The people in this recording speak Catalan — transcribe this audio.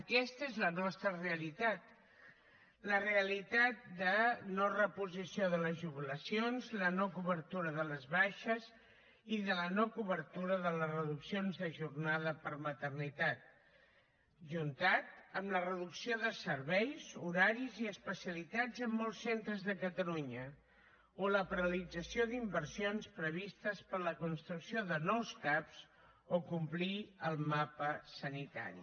aquesta és la nostra realitat la realitat de no reposició de les jubilacions la no cobertura de les baixes i la no cobertura de les reduccions de jornada per maternitat ajuntat amb la reducció de serveis horaris i especialitats en molts centres de catalunya o la paralització d’inversions previstes per a la construcció de nous cap o complir el mapa sanitari